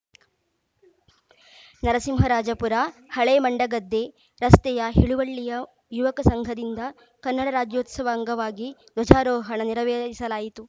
ನರಸಿಂಹರಾಜಪುರ ಹಳೇಮಂಡಗದ್ದೆ ರಸ್ತೆಯ ಹಿಳುವಳ್ಳಿಯ ಯುವಕ ಸಂಘದಿಂದ ಕನ್ನಡ ರಾಜ್ಯೋತ್ಸವ ಅಂಗವಾಗಿ ಧ್ವಜಾರೋಹಣ ನೆರವೇರಿಸಲಾಯಿತು